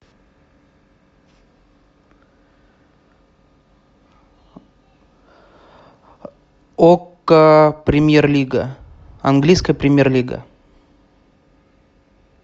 окко премьер лига английская премьер лига